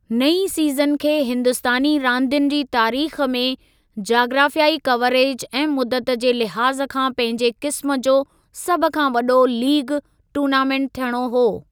नईं सीज़न खे हिंदुस्तानी रांदियुनि जी तारीख़ में जाग्राफ़ियाई कवरेज ऐं मुदत जे लिहाज़ खां पंहिंजे क़िस्मु जो सभ खां वॾो लीग टूर्नामेंट थियणो हो।